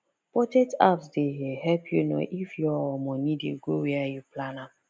budget apps dey help you know if your money dey go where you plan am